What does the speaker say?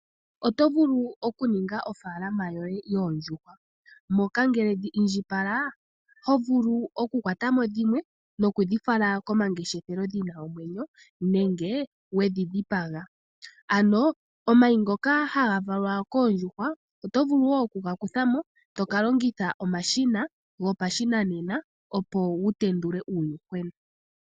Oto vulu okuninga ofaalama yoye yoondjuhwa moka ngele dhi indjipala hovulu okukwata mo dhimwe nokudhi fala komangeshefelo dhina omwenyo nenge wedhi dhipaga. Omayi ngoka haga valwa koondjuhwa oto vulu okuga kutha mo tokalongitha omashina gopashinanena opo wutendule uuyuhwena.